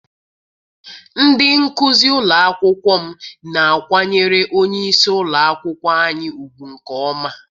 Ndị nkụzi ụlọ akwụkwọ m na-akwanyere onyeisi ụlọakwụkwọ anyị ugwu nke ọma.